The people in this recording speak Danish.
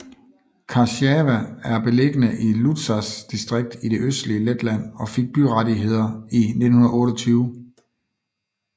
Kārsava er beliggende i Ludzas distrikt i det østlige Letland og fik byrettigheder i 1928